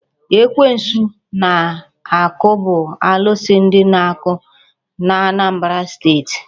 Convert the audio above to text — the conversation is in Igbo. Ekwensu Anakụ bụ alụsị ndị Anakụ n'Anambra steeti.